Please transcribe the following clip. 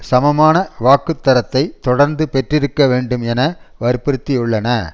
சமமான வாக்குத்தரத்தை தொடர்ந்து பெற்றிருக்க வேண்டும் என வற்புறுத்தியுள்ளன